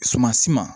Sumansi ma